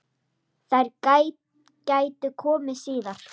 Þær gætu komið síðar.